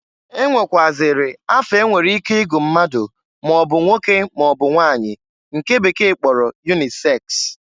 E nwekwụazịrị afa enwere ike igu mmadụ maọbụ nwoke maọbụ nwanyị nke bekee kporo yuniseks.